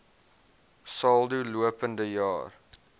saldo lopende jaar